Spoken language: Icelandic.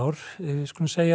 við skulum segja